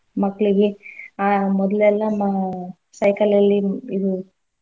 ಮಕ್ಳಿಗೆ ಆ ಮೊದ್ಲೆಲ್ಲ ಮಾ~ cycle ಅಲ್ಲಿ ಇದು.